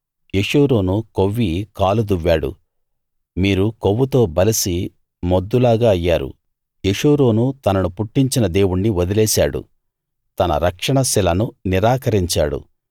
యెషూరూను కొవ్వి కాలు దువ్వాడు మీరు కొవ్వుతో బలిసి మొద్దులాగా అయ్యారు యెషూరూను తనను పుట్టించిన దేవుణ్ణి వదిలేశాడు తన రక్షణ శిలను నిరాకరించాడు